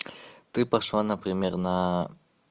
ты пошла например на